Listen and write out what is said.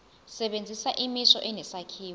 sebenzisa imisho enesakhiwo